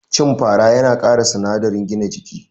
Cin fara yana kara sinadarin gina jiki